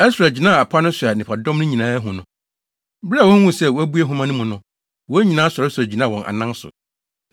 Ɛsra gyinaa apa no so a nnipadɔm no nyinaa hu no. Bere a wohuu sɛ wabue nhoma no mu no, wɔn nyinaa sɔresɔre gyinaa wɔn anan so.